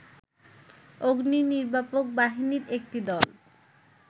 অগ্নিনির্বাপক বাহিনীর একটি দল